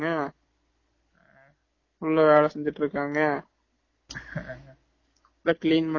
வேணாம் பா leave முடுஞ்சு எழுதிட்டு வாங்க full ஆ வேல செஞ்சுட்டு இருக்காங்க